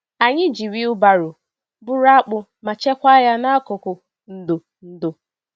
Anyị ji wheelbarrow buru akpụ ma chekwa ya n'akụkụ ndo. ndo.